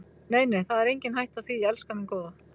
Nei, nei, það er engin hætta á því, elskan mín góða.